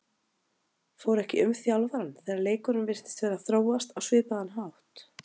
Fór ekki um þjálfarann þegar leikurinn virtist vera að þróast á svipaðan hátt?